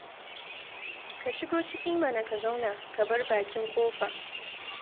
Ka shigo ciki mana ka zauna, ka bar bakin ƙofa.